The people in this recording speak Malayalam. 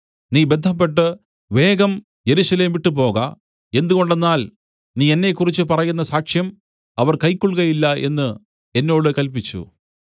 നീ ബദ്ധപ്പെട്ട് വേഗം യെരൂശലേം വിട്ടുപോക എന്തുകൊണ്ടെന്നാൽ നീ എന്നെക്കുറിച്ച് പറയുന്ന സാക്ഷ്യം അവർ കൈക്കൊൾകയില്ല എന്ന് എന്നോട് കല്പിച്ചു